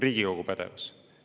Riigikogu pädevus.